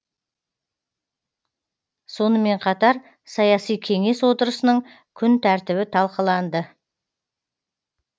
сонымен қатар саяси кеңес отырысының күн тәртібі талқыланды